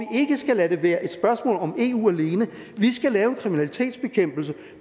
skal lade det være et spørgsmål om eu alene vi skal lave en kriminalitetsbekæmpelse